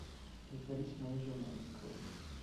притворись моей женой открой